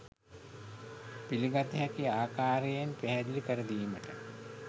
පිළිගත හැකි ආකාරයෙන් පැහැදිලි කර දීමට